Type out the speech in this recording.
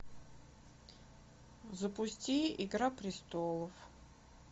запусти игра престолов